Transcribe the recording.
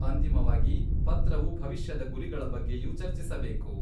ಅಂತಿಮವಾಗಿ, ಪತ್ರವು ಭವಿಷ್ಯದ ಗುರಿಗಳ ಬಗ್ಗೆಯೂ ಚರ್ಚಿಸಬೇಕು.